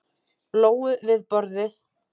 Lóu við borðið.